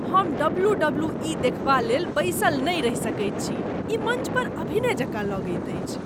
हम W. W. E. देखबालेल बैसल नहि रहि सकैत छी। ई मञ्च पर अभिनय जकाँ लगैत अछि।